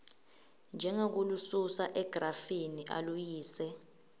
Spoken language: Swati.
njengekulususa egrafini aluyise